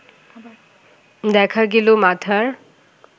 দেখা গেল মাথার